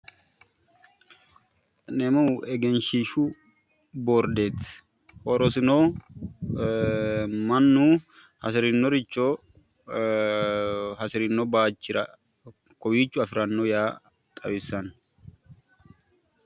kuni egenshiishshu bordeeti horosino mannu hasirinoricho hasirino baachira kowiicho afiranno yaa xawissanno